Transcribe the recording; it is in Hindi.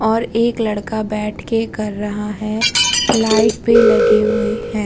और एक लड़का बैठ के कर रहा है लाइट भी लगी हुई है।